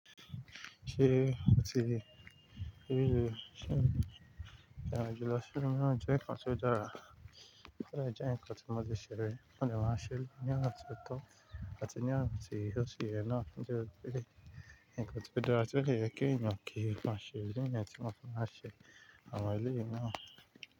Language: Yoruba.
Ṣé ó ti rí rí i ṣe ìrìnàjò lọ sí ìlú mìíràn jẹ́ nǹkan tí ó dára, ó dẹ̀ jẹ́ nǹkan tí mo ti ṣe rí, mo dẹ̀ máa ń ṣe ní ọ̀nà tí ó tọ́, àti ní ọ̀nà tí ó tún yẹ náà nítorí pé nǹkan tí ó dára tí ó dẹ̀ yẹ kí èèyàn kí ó máa ṣe, bí èèyàn tí wọ́n máa ṣe àwọn eléyìí náà.